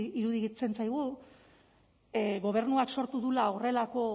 iruditzen zaigu gobernuak sortu duela horrelako